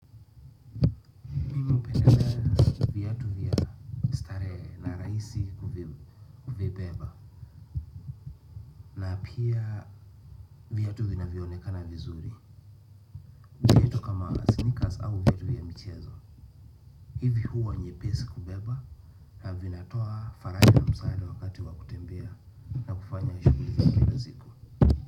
Napendelea viatu vya starehe na rahisi kuvibeba, na pia viatu vinavyo onekana vizuri. Viatu kama sneakers au viatu vya michezo hivi huwa nyepesi kubeba na vinatoa faraja na msaada wakati wa kutembea na kufanya shughuli za kila siku.